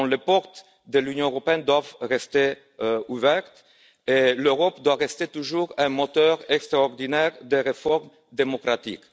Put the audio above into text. Donc, les portes de l'Union européenne doivent rester ouvertes et l'Europe doit rester toujours un moteur extraordinaire de réformes démocratiques.